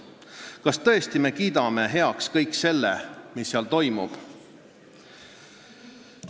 Kas me tõesti kiidame heaks kõik selle, mis seal toimub?